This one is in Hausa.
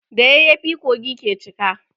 Da yayyafi kogi ke cika.